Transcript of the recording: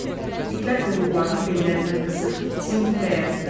İtlər quyruqlarını bellərinə qısıb zingildəyərdilər.